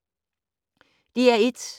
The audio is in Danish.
DR1